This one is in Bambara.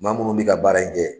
Maa munnuw bɛ ka baara in kɛ.